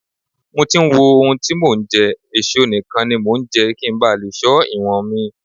Mo ti ń wo ohun tí mò ń jẹ, èso nìkan ni mo ńjẹ́ kí ńba lè ṣọ́ ìwọ̀nmi.